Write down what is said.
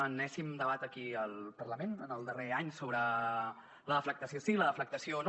enèsim debat aquí al parlament en el darrer any sobre la deflactació sí la deflactació no